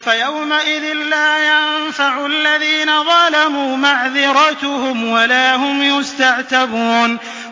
فَيَوْمَئِذٍ لَّا يَنفَعُ الَّذِينَ ظَلَمُوا مَعْذِرَتُهُمْ وَلَا هُمْ يُسْتَعْتَبُونَ